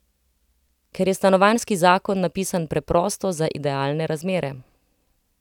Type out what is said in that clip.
Ker je stanovanjski zakon napisan preprosto za idealne razmere.